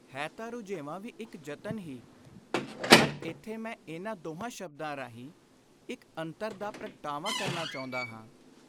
ਹੈ ਤਾਂ ਰੁਝੇਵਾਂ ਵੀ ਇਕ ਯਤਨ ਹੀ; ਪਰ ਇਥੇ ਮੈਂ ਇਨ੍ਹਾਂ ਦੋਹਾਂ ਸ਼ਬਦਾਂ ਰਾਹੀਂ ਇਕ ਅੰਤਰ ਦਾ ਪ੍ਰਗਟਾਵਾ ਕਰਨਾ ਚਾਹੁੰਦਾ ਹਾਂ।